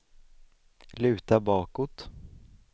luta bakåt